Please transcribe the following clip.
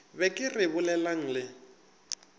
be ke re bolelang le